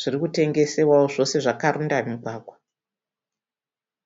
zvirikutengesewawo zvose zvakaronda mugwagwa